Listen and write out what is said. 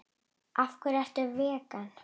Af hverju ertu vegan?